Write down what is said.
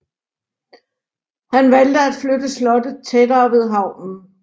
Han valgte at flytte slottet tættere ved havnen